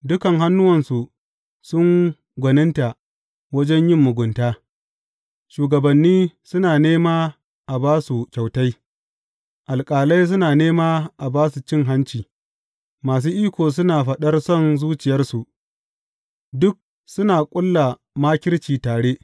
Dukan hannuwansu sun gwaninta wajen yin mugunta; shugabanni suna nema a ba su kyautai, alƙalai suna nema a ba su cin hanci, masu iko suna faɗar son zuciyarsu, duk suna ƙulla makirci tare.